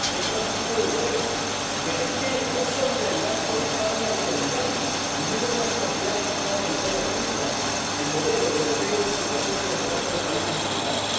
Es un asunto europeo, que requiere, no solidaridad con España o con Italia, ni mucho menos confiar en que España e Italia cumplan el modelo europeo en su relación bilateral con los países africanos.